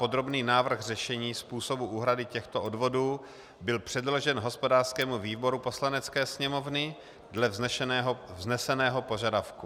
Podrobný návrh řešení způsobu úhrady těchto odvodů byl předložen hospodářskému výboru Poslanecké sněmovny dle vzneseného požadavku.